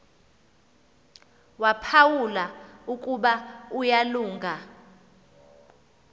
waphawula ukuba uyalunga